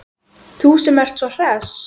Þú sem ert svo hress!